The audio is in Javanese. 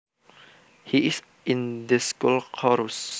He is in the school chorus